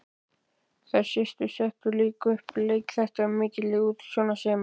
Þær systur settu líka upp leikþætti af mikilli útsjónarsemi.